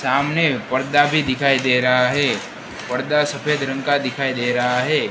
सामने पड़दा भी दिखाई दे रहा हैं पड़दा सफेद रंग का दिखाई दे रहा हैं।